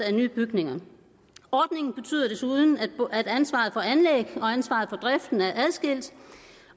af nye bygninger ordningen betyder desuden at ansvaret for anlæg og ansvaret for driften er adskilt